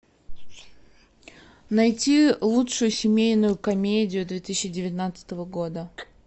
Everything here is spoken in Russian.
найти лучшую семейную комедию две тысячи девятнадцатого года